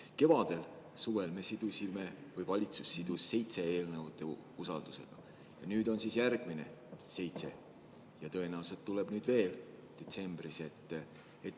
Kevadel ja suvel sidus valitsus seitse eelnõu usaldus, nüüd on siin järgmised seitse ja tõenäoliselt tuleb neid detsembris veel.